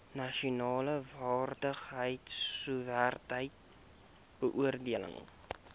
nasionale vaardigheidsowerheid beoordeel